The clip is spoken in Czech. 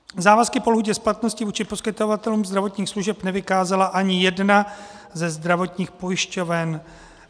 Závazky po lhůtě splatnosti vůči poskytovatelům zdravotních služeb nevykázala ani jedna ze zdravotních pojišťoven.